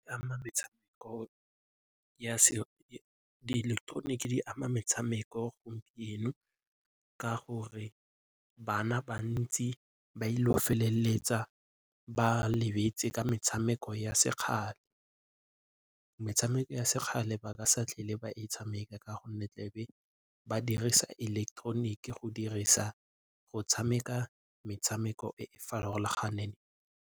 Di ileketeroniki di ama metshameko eno ka gore bana bantsi ba ile go feleletsa ba lebetse ka metshameko ya sekgale. Metshameko ya sekgale ba ka se tlhole ba e tshameka ka gonne tlebe ba dirisa ileketeroniki go dirisa go tshameka metshameko e e farologaneng.